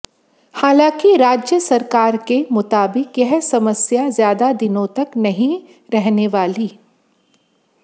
हालांकि राज्य सरकार के मुताबिक यह समस्या ज्यादा दिनों तक नहीं रहने वाली